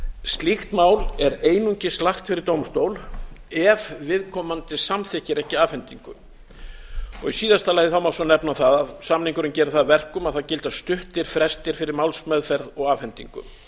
slíkt mál er einungis lagt fyrir dómstól ef viðkomandi samþykkir ekki afhendingu í síðasta lagi má svo nefna það að samningurinn gerir það að verkum að það gilda stuttir frestir fyrir málsmeðferð og afhendingu